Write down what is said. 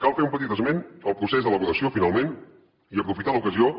cal fer un petit esment del procés d’elaboració finalment i aprofitar l’ocasió